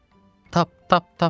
Tap, tap, tap.